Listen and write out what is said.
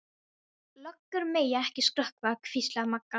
Löggur mega ekki skrökva, hvíslaði Magga.